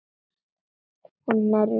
Hún herti upp hugann.